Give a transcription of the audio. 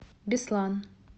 беслан